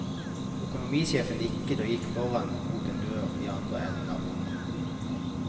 Økonomisjefen nikket og gikk foran mot en dør i andre enden av rommet.